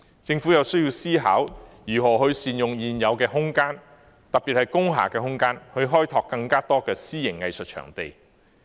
政府有需要思考如何善用現有空間，特別是工廈的空間，以開拓更多私營藝術場地。